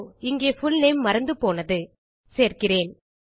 இங்கே புல்நேம் மறந்துபோனது சேர்க்கிறேன்